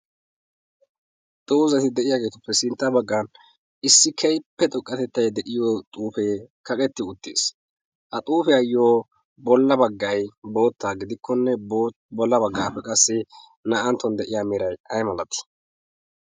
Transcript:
Doozati de'iyaageetuppe sintta baggaara issi keehippe xoqqatettay de'iyo xuufee kaqetti uttiis. Ha xuufiyayyoo bollan baggay bootta gidikkonne bolla baggaappe qassi na"anttuwan de'iya meray aymalatii?